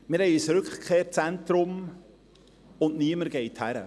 Wir haben ein Rückkehrzentrum und niemand geht hin.